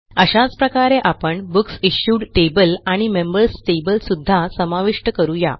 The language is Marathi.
अशाच प्रकारे आपण बुकसिश्यूड टेबल आणि मेंबर्स टेबल सुद्धा समाविष्ट करू या